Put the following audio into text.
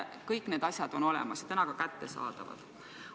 Kõik need asjad on olemas ja täna ka kättesaadavad.